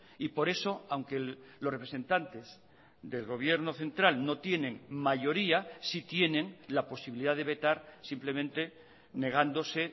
y por eso aunque los representantes del gobierno central no tienen mayoría sí tienen la posibilidad de vetar simplemente negándose